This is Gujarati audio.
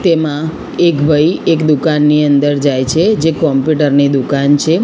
તેમા એક ભઈ એક દુકાનની અંદર જાય છે જે કોમ્પ્યુટર ની દુકાન છે.